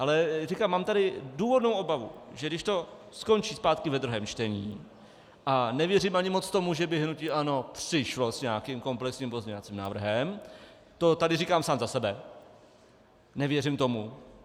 Ale říkám, mám tady důvodnou obavu, že když to skončí zpátky ve druhém čtení, a nevěřím ani moc tomu, že by hnutí ANO přišlo s nějakým komplexním pozměňovacím návrhem, to tady říkám sám za sebe, nevěřím tomu.